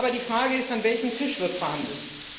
Aber die Frage ist An welchem Tisch wird verhandelt?